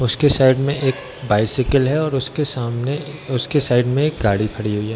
उसके साइड में एक बाइसिकल है और उसके सामने उसके साइड में एक गाड़ी खड़ी हुई है।